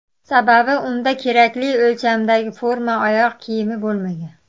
Sababi unda kerakli o‘lchamdagi forma oyoq kiyimi bo‘lmagan.